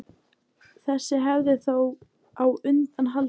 þessi hefð er þó á undanhaldi